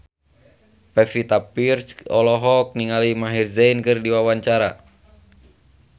Pevita Pearce olohok ningali Maher Zein keur diwawancara